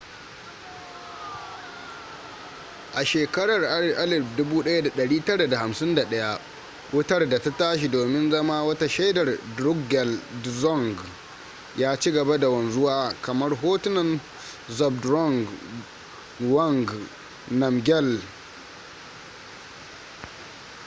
a shekarar 1951 wutar da ta tashi domin zama wata shaidar drukgyal dzong ya ci gaba da wanzuwa kamar hotunan zhabdrung ngawang namgyal